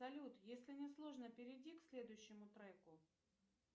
салют если не сложно перейди к следующему треку